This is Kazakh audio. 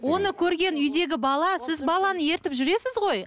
оны көрген үйдегі бала сіз баланы ертіп жүресіз ғой